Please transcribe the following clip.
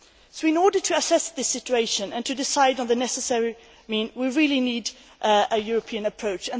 So, in order to assess this situation and to decide on the necessary means, we really need a European approach.